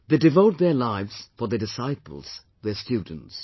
They devote their lives for their disciples, their students